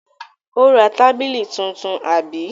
Ó ra tábìlì tuntun, àbí?